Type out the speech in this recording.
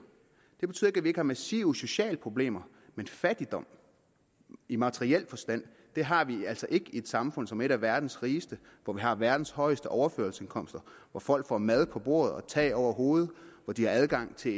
det betyder vi ikke har massive sociale problemer men fattigdom i materiel forstand har vi altså ikke i et samfund som er et af verdens rigeste hvor vi har verdens højeste overførselsindkomster hvor folk får mad på bordet og tag over hovedet hvor de har adgang til